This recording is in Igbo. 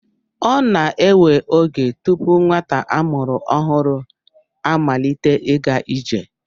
Ọ na-ewe oge tupu nwata a mụrụ ọhụrụ amalite ịga ije.